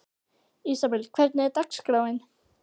Ísabel, hvernig er dagskráin?